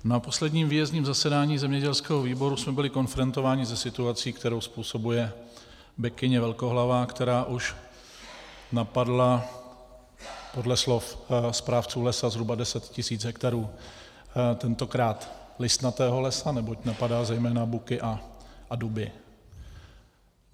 Na posledním výjezdním zasedání zemědělského výboru jsme byli konfrontováni se situací, kterou způsobuje bekyně velkohlavá, která už napadla podle slov správců lesa zhruba 10 tisíc hektarů tentokrát listnatého lesa, neboť napadá zejména buky a duby.